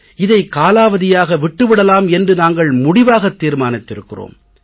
இதை காலாவதியாக விட்டு விடலாம் என்று நாங்கள் முடிவாக தீர்மானித்திருக்கிறோம்